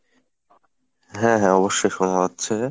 হ্যাঁ হ্যাঁ অবশ্যই শোনা যাচ্ছে।